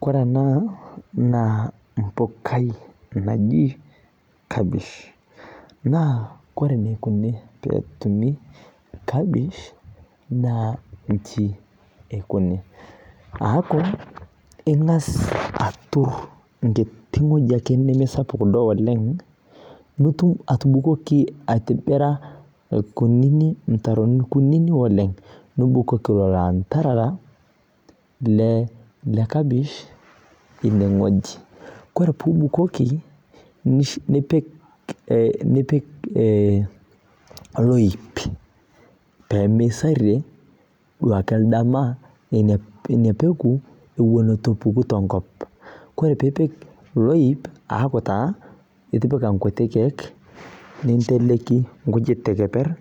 Koree ena na empukai naji kapish na ore enikuni petumi kepish na nji eaku ingasa atur enkiti wueji nemesapuk oleng nibukuko nintobira irkunini mutaroni kunini oleng nipik landerera le kapish ineweuji ore pibukoki nipik oloip pemeiserrie inapeku ituepuki tenkop ore pipik loip aaku itipika nkuti kiek ninteleleki nkujit teneper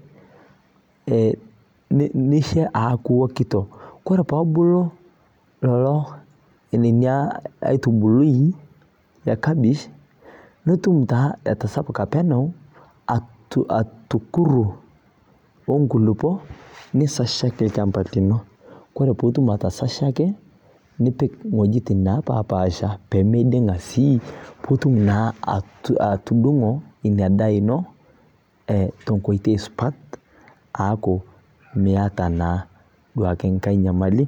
nisha aaku ikito ore pebulu kuko ina aitubului akapish netum na atasapuka penyo atukuto onkulupp nisajer olchamba lino ore patum atasashaki nipik wueji napasha pemeidinga si pitum na atudungo inadaa ino tenkoitoi supat neaku miata enkae nyamali.